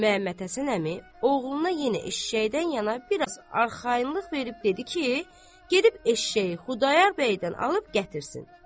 Məmmədhəsən əmi oğluna yenə eşşəkdən yana bir az arxayınlıq verib dedi ki, gedib eşşəyi Xudayar bəydən alıb gətirsin.